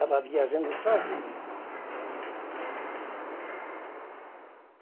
Estava viajando sozinho.